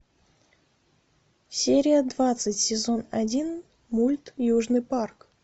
серия двадцать сезон один мульт южный парк